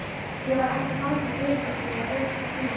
Ég var hætt að ansa dyrabjöllunni og lyfti ekki símanum.